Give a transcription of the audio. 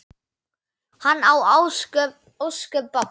Hann á ósköp bágt.